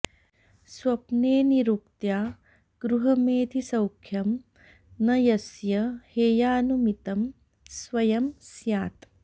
स्वप्ने निरुक्त्या गृहमेधिसौख्यं न यस्य हेयानुमितं स्वयं स्यात्